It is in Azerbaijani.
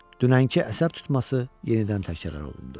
Dünənki əsəb tutması yenidən təkrar olundu.